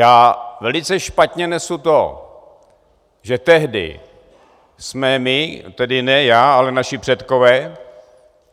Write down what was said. Já velice špatně nesu to, že tehdy jsme my, tedy ne já, ale naši předkové,